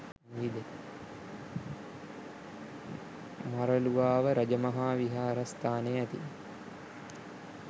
මරළුවාව රජ මහා විහාරස්ථානයේ ඇති